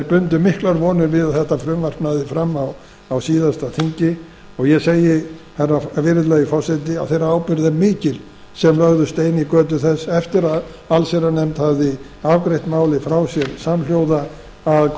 bundu miklar vonir við að þetta frumvarp næði fram á síðasta þingi og ég segi virðulegi forseti að þeirra ábyrgð er mikil sem lögðu stein í götu þess eftir að allsherjarnefnd hafði afgreitt málið frá sér samhljóða að koma í